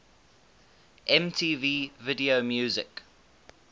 mtv video music